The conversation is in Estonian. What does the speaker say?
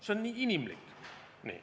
See on nii inimlik.